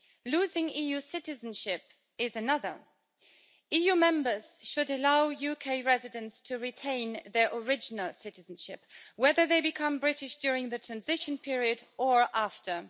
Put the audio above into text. Losing EU citizenship is another. EU members should allow UK residents to retain their original citizenship, whether they become British during the transition period or after.